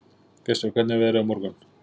Gestur, hvernig er veðrið á morgun?